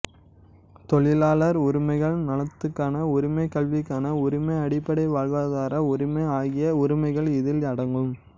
தொழிலாளர் உரிமைகள் நலத்துக்கான உரிமை கல்விக்கான உரிமை அடிப்படை வாழ்வாதார உரிமை ஆகிய உரிமைகள் இதில் அடங்கும்